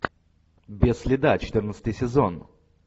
без следа четырнадцатый сезон